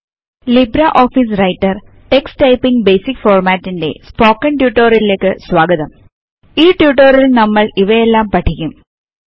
Libra office Writer text typing basic formatting ന്റെ spoken ട്യൂട്ടോറിയലിലേക്ക് സ്വാഗതം ഇവയൊക്കെയാണ് നമ്മൾ ഇതിൽ പഠിക്കാൻ പോകുന്നത്